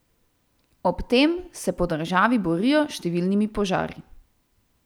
Ob tem se po državi borijo s številnimi požari.